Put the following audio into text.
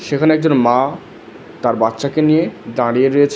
সেখানে একজন মা তার বাচ্চাকে নিয়ে দাঁড়িয়ে রয়েছে।